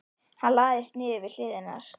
Hann lagðist niður við hlið hennar.